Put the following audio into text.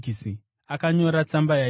Akanyora tsamba yaiti: